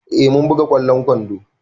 Eh mun buga ƙwallon kwando.